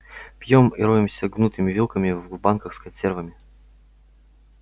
пьём и роемся гнутыми вилками в банках с консервами